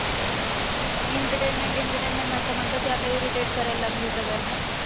Entertainment Entertainment म्हणता म्हणता ती आता irritate करायला लागलीये सगळ्यांना.